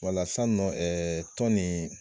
Wala san nɔ ɛɛ tɔn nin